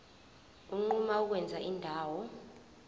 unquma ukwenza indawo